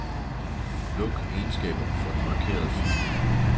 Luk egenskaber for den markerede fil.